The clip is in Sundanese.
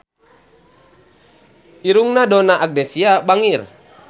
Irungna Donna Agnesia bangir